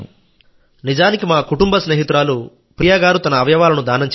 నిజానికి మా కుటుంబ స్నేహితురాలు ప్రియా గారు తన అవయవాలను దానం చేశారు